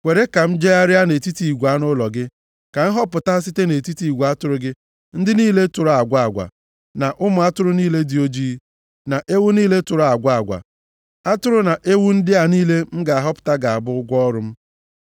Kwere ka m jegharịa nʼetiti igwe anụ ụlọ gị, ka m họpụta site nʼetiti igwe atụrụ gị ndị niile tụrụ agwa agwa, na ụmụ atụrụ niile dị oji, na ewu niile tụrụ agwa agwa. Atụrụ na ewu ndị a niile m ga-ahọpụta ga-abụ ụgwọ ọrụ m.